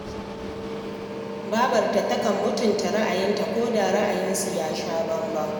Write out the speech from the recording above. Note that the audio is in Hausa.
Babarta takan mutunta ra'ayinta ko da ra'ayinsu ya sha bambam